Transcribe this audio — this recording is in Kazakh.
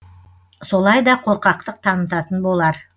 солай да қорқақтық танытатын болар